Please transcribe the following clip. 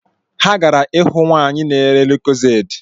Ha gara ịhụnwaanyi na-ere Lucozade